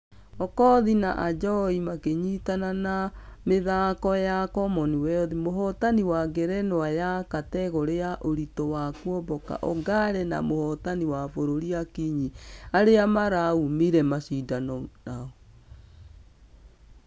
Okoth na ajowi makĩnyitana na ....a mĩthako ya commonwealth mũhotani wa ngerenwa ya ....kategore ya ũritũ wa kuomboka ongare na mũhotani wa kĩbũrũri akinyi arĩa maraumire mashidano ũnao.